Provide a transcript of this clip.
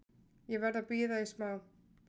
Ég verð að bíða í smá.